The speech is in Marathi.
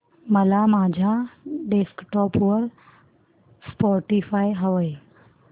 मला माझ्या डेस्कटॉप वर स्पॉटीफाय हवंय